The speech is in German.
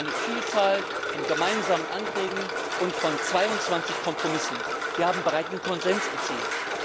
Durch eine Vielzahl von gemeinsamen Anträgen und 22 Kompromisse haben wir breiten Konsens erzielt.